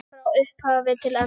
Frá upphafi til enda.